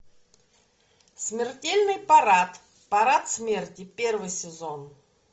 смертельный парад парад смерти первый сезон